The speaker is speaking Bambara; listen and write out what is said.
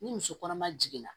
Ni muso kɔnɔma jiginna